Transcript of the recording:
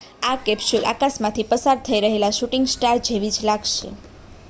આ કેપ્સ્યુલ આકાશમાં થી પસાર થઈ રહેલા શૂટિંગ સ્ટાર જેવી જ લાગશે